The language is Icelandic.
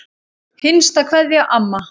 HINSTA KVEÐJA Amma.